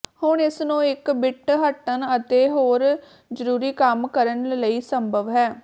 ਹੁਣ ਇਸ ਨੂੰ ਇੱਕ ਬਿੱਟ ਹੱਟਣ ਅਤੇ ਹੋਰ ਜ਼ਰੂਰੀ ਕੰਮ ਕਰਨ ਲਈ ਸੰਭਵ ਹੈ